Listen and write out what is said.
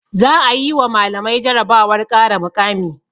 Za'a yi wa malamai jarabawar ƙara mukami.